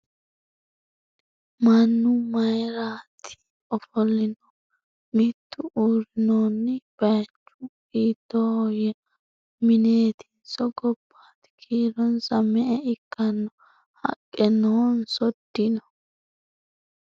Mannu mayiiratti? Ofolinnohu? Mittu uurinnonni? Bayiichchu hiittohoya? Mineettinso ? Gobbatti ? Kiironsa me'e ikkanno ? Haqqe noonso ? dinno ?